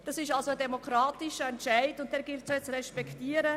Das war ein demokratischer Entscheid, und diesen gilt es zu respektieren.